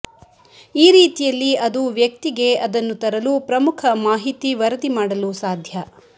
ಈ ರೀತಿಯಲ್ಲಿ ಅದು ವ್ಯಕ್ತಿಗೆ ಅದನ್ನು ತರಲು ಪ್ರಮುಖ ಮಾಹಿತಿ ವರದಿ ಮಾಡಲು ಸಾಧ್ಯ